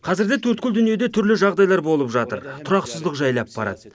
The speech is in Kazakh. қазірде төрткүл дүниеде түрлі жағдайлар болып жатыр тұрақсыздық жайлап барады